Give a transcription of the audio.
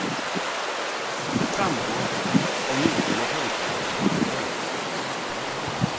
Det framgår av nyligen offentliggjorda dokument.